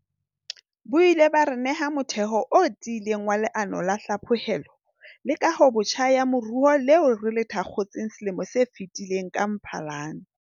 Bo ile ba re neha motheo o tiileng wa Leano la Hlaphohelo le Kahobotjha ya Moruo leo re le thakgotseng selemong se fetileng ka Mphalane.